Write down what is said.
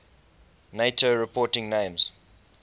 nato reporting names